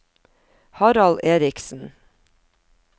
Harald Erichsen